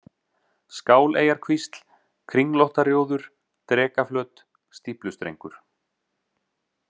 Skáleyjarkvísl, Kringlóttarjóður, Drekaflöt, Stíflustrengur